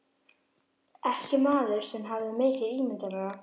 Ekki maður sem hafði mikið ímyndunarafl.